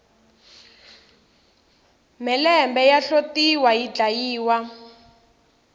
mhelembe ya hlotiwa yi dlayiwa